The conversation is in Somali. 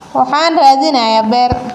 Waxaan raadinayaa beer